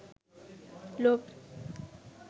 লোভ